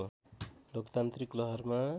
लोकतान्त्रिक लहरमा